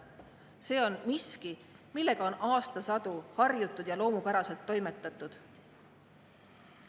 See on miski, millega on aastasadu harjutud, nii on loomupäraselt toimetatud.